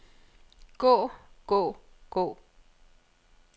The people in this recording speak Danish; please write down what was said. gå gå gå